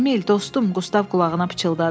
Emil, dostum, Qustav qulağına pıçıldadı.